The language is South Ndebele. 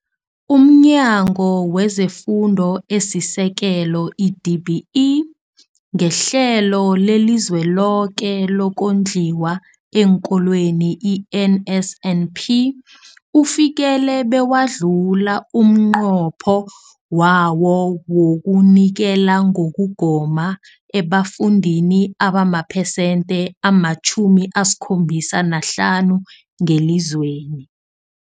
UmNyango wezeFundo esiSekelo, i-DBE, ngeHlelo leliZweloke lokoNdliwa eenKolweni, i-NSNP, ufikelele bewadlula umnqopho wawo wokunikela ngokugoma ebafundini abamaphesenthe ama-75 ngelizweni.